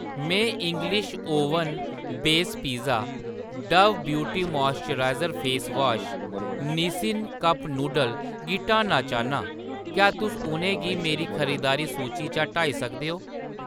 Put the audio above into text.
मैं English oven base pizza, Dove beauty moisture face wash ते Nissin cup noodle गी हटाना चाह्‌न्नां, क्या तुस उʼनें गी मेरी खरीदारी सूची चा हटाई सकदे ओ ?